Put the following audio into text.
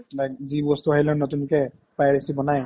like যি বস্তু আহিলে নতুনকে privacy বনাই